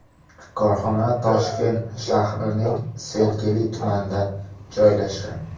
Korxona Toshkent shahrining Sergeli tumanida joylashgan.